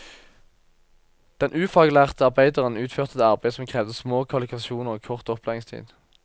Den ufaglærte arbeideren utførte et arbeid som krevde små kvalifikasjoner og kort opplæringstid.